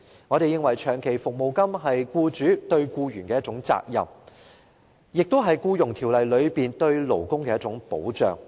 我們認為，長期服務金是僱主對僱員的責任，亦是《僱傭條例》中對勞工的一種保障。